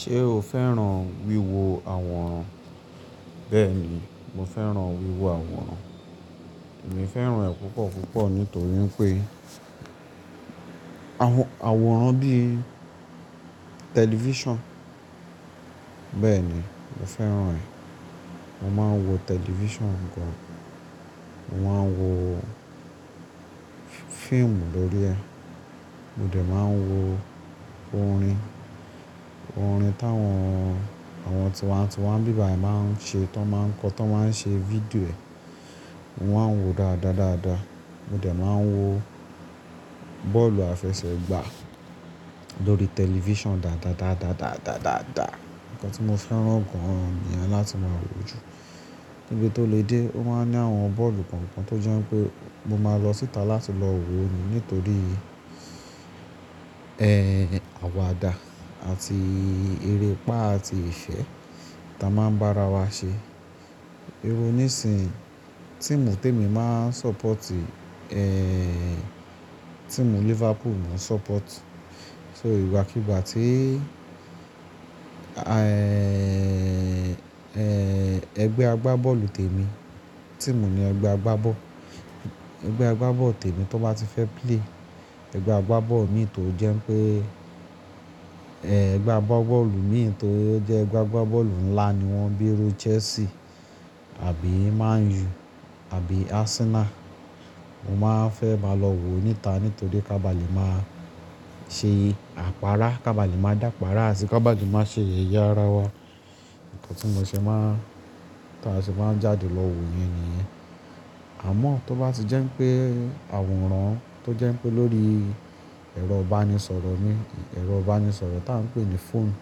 Ṣé o fẹ́ràn wíwo àwòrán? Bẹ́ẹ̀ni, mo fẹ́ràn wíwo àwòrán. Èmi fẹ́ràn ẹ̀ púpọ̀ púpọ̀ nítorí pé àwòrán bíi tẹlifíṣàn, bẹ́ẹ̀ni mo fẹ́ràn ẹ̀. Mo máa ń wo tẹlifíṣàn gan. Mo máa ń wo fíìmù lórí ẹ̀. Mo dẹ̀ máa ń wo orin, orin táwọn, àwọn tiwantiwan nbíbàyi máa ń ṣe tó máa ń kọ, tó máa ń ṣe fídíò ẹ̀. Mo máa ń wo dáadáa dáadáa. Mo dẹ̀ máa ń wo bọ́ọ̀lù àfẹsẹ̀gbá lórí tẹlifíṣàn dáadáa dáadáa dáadáa dáadáa. Ǹkan tí mo fẹ́ràn gan ni ẹ̀ láti máa wò ju. Ibi tó lè dé o máa ń ní àwọn bọ́ọ̀lù kọ̀ọ̀kan tó jẹ́ pé mo máa lọ síta láti lọ wò ni nítorí, ẹ, àwàdà àti erépá àti ìṣẹ́ táa máa ń bá ara wa ṣe. Irú nísin tì mú tèmi máa ń sọ́pọ̀tì, ẹ, tíimu Liverpool máa ń sọ́pọ̀tì. So ìgbàkígbà tí, ẹgbẹ́ agbábọ̀lù tèmi, tí mò ní ẹgbẹ́ agbábọ̀, ẹgbẹ́ agbábọ̀lù tèmi tó bá ti fẹ́ play, ẹgbẹ́ agbábọ̀lù mi tó jẹ́ pé, ẹgbẹ́ agbábọ̀lù mi tó jẹ́ ẹgbẹ́ agbábọ̀lù ńlà ni wọ́n bíi ru Chelsea àbí Man U àbí Arsenal, mo máa fẹ́ máa lọ wò níta nítorí ká ba lè máa ṣe àpáárá, ká ba lè máa dàpáárá àti ká ba lè máa ṣe yeyẹ́ ara wa. Ǹkan tí mò ṣe máa, tí a ṣe máa jáde lọ wò ni ìyẹn. Àmọ́ tó bá ti jẹ́ pé àwòrán tó jẹ́ pé lórí ẹ̀rọ ìbánisọ̀rọ̀ mi, ẹ̀rọ ìbánisọ̀rọ̀ tá ń pè ní phone,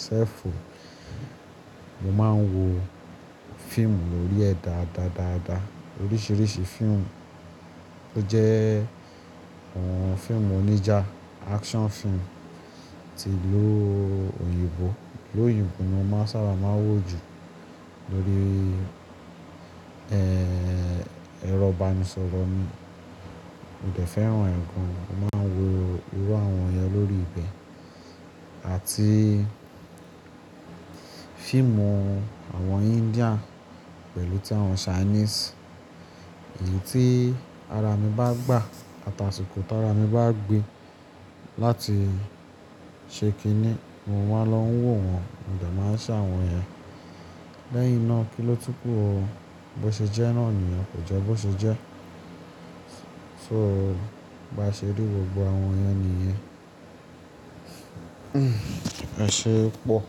cell phone, mo máa ń wo fíìmù lórí ẹ̀ dáadáa dáadáa. Oríṣìíríṣìí fíìmù tó jẹ́, fíìmù oníjà, action fíìmù ti ìlú òyìnbó. Lóyìnbó ni mo sábà máa ń wò jù lórí, ẹ̀rọ ìbánisọ̀rọ̀ mi. Mo dẹ̀ fẹ́ràn ẹ̀ gan. Mo máa ń wo irú àwọn yẹn lórí ibẹ̀ àti fíìmù àwọn India pẹ̀lú tí àwọn Chinese. Èyí tí ara mi bá gbà àtàṣìkò tó ara mi bá gbe láti ṣe kíní mo máa lọ ń wò wọ́n, mo dẹ̀ máa ṣàwọn yẹn. Lẹ́yìn náà kí ló tún kú ro, bó ṣe jẹ́ náà ni òun kò jẹ́ bó ṣe jẹ́. So bá ṣe rí gbogbo àwọn yẹn nìyẹn. Ẹ ṣe é pọ̀.